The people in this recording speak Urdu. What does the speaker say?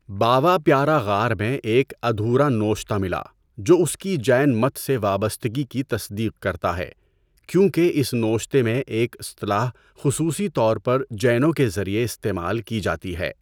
باوا پیارا غار میں ایک ادھورا نوشتہ ملا جو اس کی جین مت سے وابستگی کی تصدیق کرتا ہے کیونکہ اس نوشتے میں ایک اصطلاح خصوصی طور پر جینوں کے ذریعے استعمال کی جاتی ہے۔